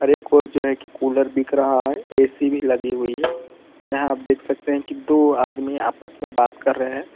और एक ओर जो है की कूलर बिक रहा है ए_सी भी लगी हुई है और यहां आप देख सकते है की दो आदमी आपस में बात कर रहे है।